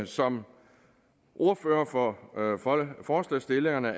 som ordfører for forslagsstillerne